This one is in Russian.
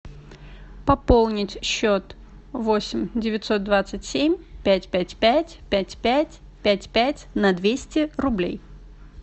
пополнить счет восемь девятьсот двадцать семь пять пять пять пять пять пять пять на двести рублей